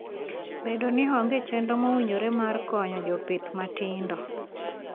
Bedo ni onge chenro mowinjore mar konyo jopith matindo.